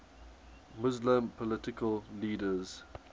muslim political leaders